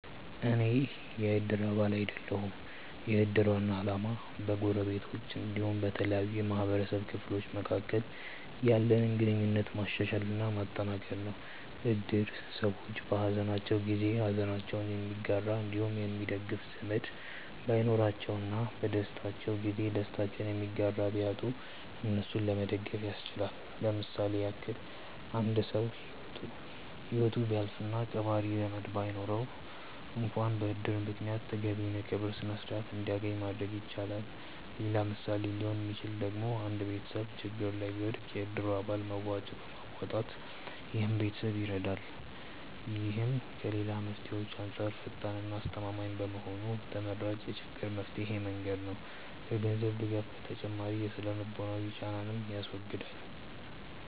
አኔ የ እድር አባል አይደለሁም። የ እድር ዋና አላማ በ ጎረቤቶች አንዲሁም በተለያዩ የ ማህበረሰቡ ክፍሎች መካከል ያለንን ግንኙነት ማሻሻል እና ማጠንከር ነው። እድር ሰዎች በ ሃዘናቸው ጊዜ ሃዘናቸውን የሚጋራ አንዲሁም የሚደግፍ ዘመድ ባይኖራቸው እና በ ደስታቸው ጊዜ ደስታቸውን የሚጋራ ቢያጡ እነሱን ለመደገፍ ያስችላል። ለምሳሌ ያክል አንድ ሰው ሂወቱ ቢያልፍ እና ቀባሪ ዘመድ ባይኖረው አንክዋን በ እድር ምክንያት ተገቢውን የ ቀብር ስርዓት አንድያገኝ ማድረግ ይቻላል። ሌላ ምሳሌ ሊሆን ሚችለው ደግሞ አንድ ቤተሰብ ችግር ላይ ቢወድቅ የ እድሩ አባላት መዋጮ በማዋጣት ይህን ቤተሰብ ይረዳሉ። ይህም ከ ሌላ መፍትሄዎች አንጻር ፈጣን እና አስተማማኝ በመሆኑ ተመራጭ የ ችግር መፍቻ መንገድ ነው። ከ ገንዘብ ድጋፍ ተጨማሪ የ ስነ-ልቦናዊ ጫናንንም ያስወግዳል።